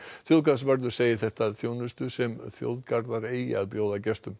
þjóðgarðsvörður segir þetta þjónustu sem þjóðgarðar eigi að bjóða gestum